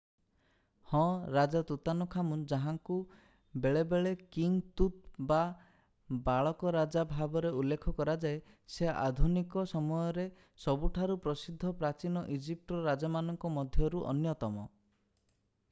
ହଁ ରାଜା ତୁତାନଖାମୁନ୍ ଯାହାଙ୍କୁ ବେଳେ ବେଳେ କିଙ୍ଗ୍ ତୁତ୍ ବା ବାଳକ ରାଜା ଭାବରେ ଉଲ୍ଲେଖ କରାଯାଏ ସେ ଆଧୁନିକ ସମୟରେ ସବୁଠାରୁ ପ୍ରସିଦ୍ଧ ପ୍ରାଚୀନ ଇଜିପ୍ଟର ରାଜାମାନଙ୍କ ମଧ୍ୟରୁ ଅନ୍ୟତମ